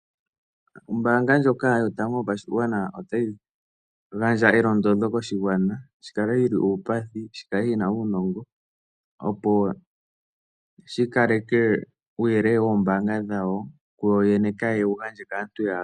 Ombaanga ndjoka yotango yopashigwana otayi gandja elondodho koshigwana shi kale shi li uupathi, shi kale shi na uunongo, opo shi kaleke uuyelele woombaanga dhawo kuyoyene kaye wu gandje kaantu ya yooloka.